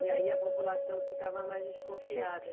E aí a população ficava mais desconfiada